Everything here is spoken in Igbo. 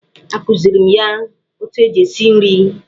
Akụzighiri m ya otu eji esi nri.